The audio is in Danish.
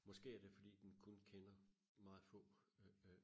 måske er det fordi den kun kender meget få øh